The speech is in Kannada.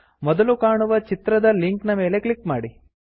ಮೊದಲು ಕಾಣುವ ಚಿತ್ರದ ಲಿಂಕ್ ನ ಮೇಲೆ ಕ್ಲಿಕ್ ಮಾಡಿ